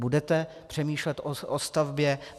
Budete přemýšlet o stavbě?